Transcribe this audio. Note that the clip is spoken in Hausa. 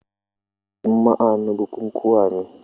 Juma'a na bukukuwa ne.